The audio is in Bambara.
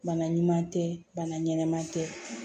Bana ɲuman tɛ bana ɲɛnama tɛ